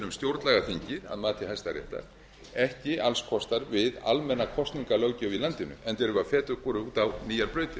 um stjórnlagaþingið að mati hæstaréttar ekki alls kostar við almenna kosningalöggjöf í landinu enda erum við að feta okkur út á nýjar brautir